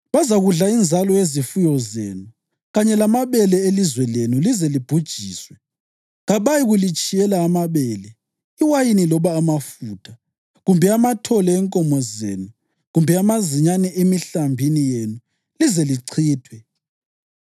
Bazakudla inzalo yezifuyo zenu kanye lamabele elizwe lenu lize libhujiswe. Kabayikulitshiyela amabele, iwayini loba amafutha, kumbe amathole enkomo zenu kumbe amazinyane emihlambini yenu lize lichithwe.